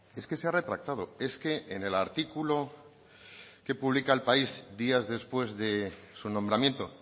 es que se ha retractado es que en el artículo que publica el país días después de su nombramiento